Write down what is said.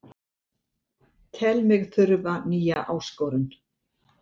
Tel mig þurfa nýja áskorun